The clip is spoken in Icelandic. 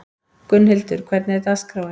Gunnhildur, hvernig er dagskráin?